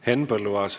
Henn Põlluaas.